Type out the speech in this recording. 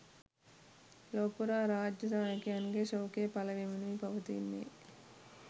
ලොව පුරා රාජ්‍ය නායකයන්ගේ ශෝකය පළ වෙමිනුයි පවතින්නේ.